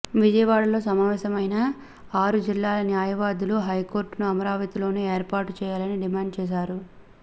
విజయవాడలో సమావేశమైన ఆరు జిల్లాల న్యాయవాదులు హైకోర్టును అమరావతిలోనే ఏర్పాటు చేయాలని డిమాండ్ చేశారు